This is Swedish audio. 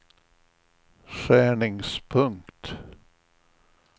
skärningspunkt